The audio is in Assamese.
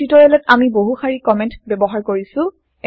এই টিওটৰিয়েলত আমি বহু শাৰি কমেন্ট ব্যৱহাৰ কৰিছো